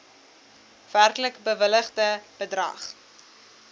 werklik bewilligde bedrag